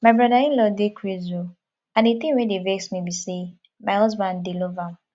my brother inlaw dey craze oo and the thing wey dey vex me be say my husband dey love am